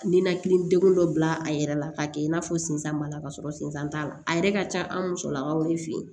Ninakili degu dɔ bila a yɛrɛ la k'a kɛ i n'a fɔ sinsan b'a la k'a sɔrɔ sensan t'a la a yɛrɛ ka ca an musolakaw de fe yen